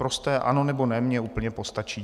Prosté ano nebo ne mi úplně postačí.